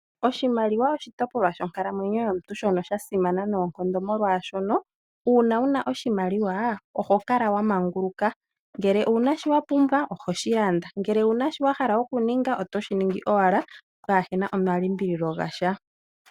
Oshimaliwa oshitipolwa shonkalamwenyo yomuntu shono sha simana noonkondo molwashono uuna wuna oshimaliwa oho kala wa manguluka, ngele owuna shiwa pumbwa ohoshi landa ngele owuna shiwa hala okuninga otoshi ningi owala kapuna omalimbililo gasha.